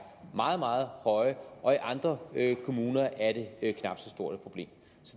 meget meget høje og i andre kommuner er det